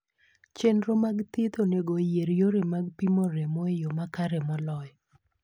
Chenro mag thieth onego oyier yore mag pimo remo e yo makare moloyo.